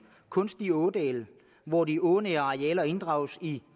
kunstige ådale hvor de ånære arealer inddrages i